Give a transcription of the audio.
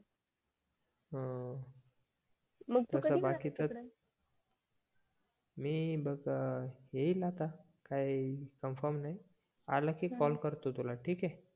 ह मी येईल आता काय कन्फर्म नाय आला की कॉल करतो तुला ठीके